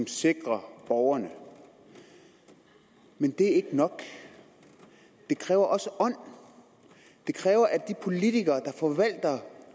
sikrer borgerne men det er ikke nok det kræver også ånd det kræver at de politikere der forvalter